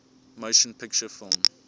motion picture film